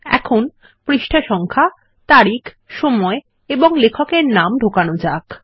এখন পৃষ্ঠা সংখ্যা তারিখ সময় এবং লেখকের নাম ঢোকানো যাক